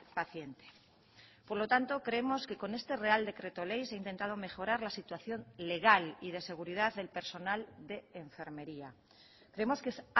paciente por lo tanto creemos que con este real decreto ley se ha intentado mejorar la situación legal y de seguridad del personal de enfermería creemos que es